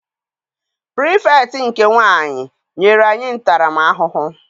Pirifektị nke nwaanyị nyere anyị ntara m ahụhụ.